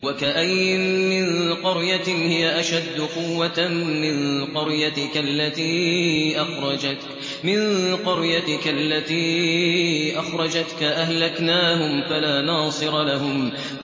وَكَأَيِّن مِّن قَرْيَةٍ هِيَ أَشَدُّ قُوَّةً مِّن قَرْيَتِكَ الَّتِي أَخْرَجَتْكَ أَهْلَكْنَاهُمْ فَلَا نَاصِرَ لَهُمْ